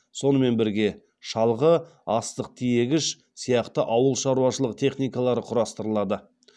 сонымен бірге шалғы астық тиегіш сияқты ауыл шаруашылығы техникалары құрастырылады